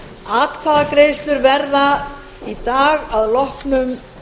atkvæðagreiðslur verða í dag að loknum